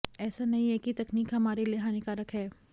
ऐसा नहीं है कि तकनीक हमारे लिए हानिकारक हैं